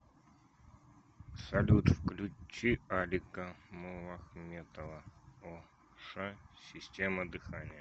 салют включи алика муллахметова о ша система дыхания